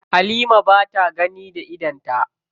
Halima ba ta gani da idonta.